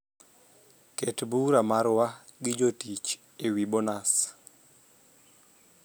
ket bura marwa gi jotich ewi bonus